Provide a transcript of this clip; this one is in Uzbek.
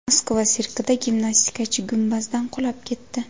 Moskva sirkida gimnastikachi gumbazdan qulab ketdi.